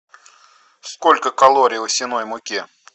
сколько калорий в овсяной муке